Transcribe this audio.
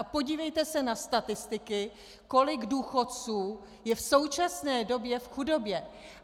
A podívejte se na statistiky, kolik důchodců je v současné době v chudobě.